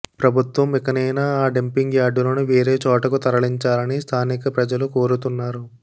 ప్రభుత్వం ఇకనైనా ఆ డంపింగ్ యార్డులను వేరే చోటుకు తరలించాలని స్థానిక ప్రజలు కోరుతున్నారు